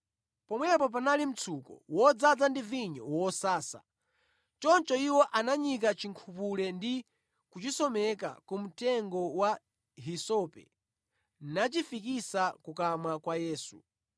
Pomwepo panali mtsuko wodzaza ndi vinyo wosasa, choncho iwo ananyika chinkhupule ndi kuchisomeka ku mtengo wa hisope nachifikitsa kukamwa kwa Yesu.